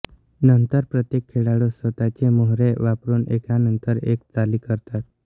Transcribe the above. नंतर प्रत्येक खेळाडू स्वतःचे मोहरे वापरून एकानंतर एक चाली करतात